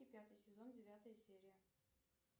пятый сезон девятая серия